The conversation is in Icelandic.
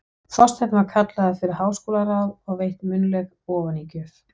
Þorsteinn var kallaður fyrir háskólaráð og veitt munnleg ofanígjöf.